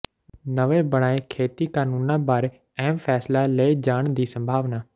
ਨਵੇਂ ਬਣਾਏ ਖੇਤੀ ਕਾਨੂੰਨਾਂ ਬਾਰੇ ਅਹਿਮ ਫੈਸਲਾ ਲਏ ਜਾਣ ਦੀ ਸੰਭਾਵਨਾ